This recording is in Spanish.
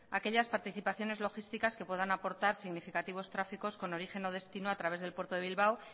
aquellas participaciones logísticas que puedan aportar significativos tráficos con origen o destina a través del puerto de bilbao